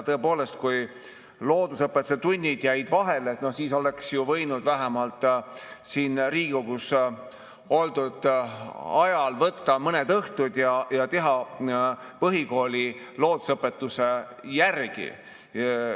Tõepoolest, kui loodusõpetuse tunnid jäid vahele, siis oleks võinud vähemalt siin Riigikogus oldud ajal võtta mõned õhtud ja teha põhikooli loodusõpetus.